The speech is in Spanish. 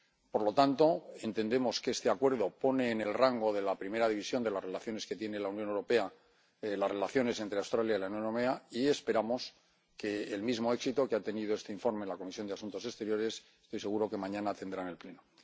Por lo tanto, entendemos que este Acuerdo pone en el rango de la primera división de las relaciones que tiene la Unión Europea las relaciones entre Australia y la Unión Europea, y esperamos que el mismo éxito que ha tenido este informe de la Comisión de Asuntos Exteriores, estoy seguro que mañana lo tendrá en el Pleno.